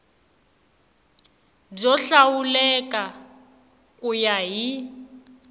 byo hlawuleka ku ya hi